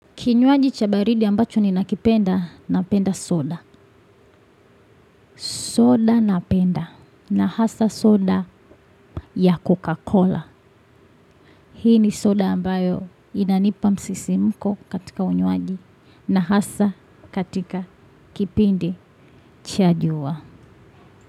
Kinywaji cha baridi ambacho ninakipenda, napenda soda. Soda napenda. Na hasa soda ya Coca-Cola. Hii ni soda ambayo inanipa msisimuko katika unywaji. Na hasa katika kipindi cha jua.